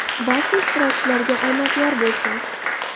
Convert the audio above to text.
Barcha ishtirokchilarga omad yor bo‘lsin.